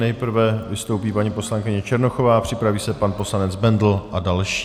Nejprve vystoupí paní poslankyně Černochová, připraví se pan poslanec Bendl a další.